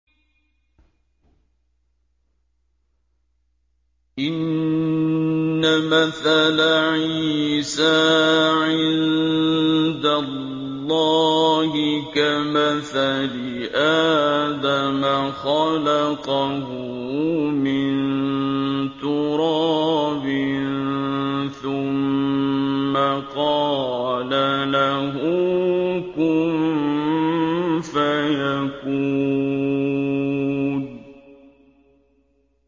إِنَّ مَثَلَ عِيسَىٰ عِندَ اللَّهِ كَمَثَلِ آدَمَ ۖ خَلَقَهُ مِن تُرَابٍ ثُمَّ قَالَ لَهُ كُن فَيَكُونُ